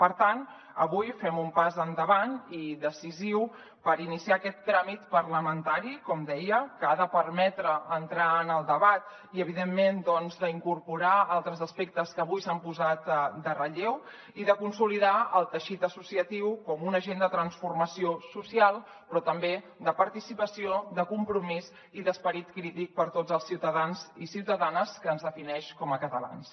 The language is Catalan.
per tant avui fem un pas endavant i decisiu per iniciar aquest tràmit parlamentari com deia que ha de permetre entrar en el debat i evidentment doncs incorporar altres aspectes que avui s’han posat en relleu i consolidar el teixit associatiu com un agent de transformació social però també de participació de compromís i d’esperit crític per a tots els ciutadans i ciutadanes que ens defineix com a catalans